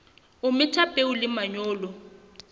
o metha peo le manyolo